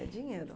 É dinheiro.